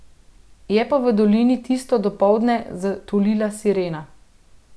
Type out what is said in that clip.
Je pa v dolini tisto dopoldne zatulila sirena.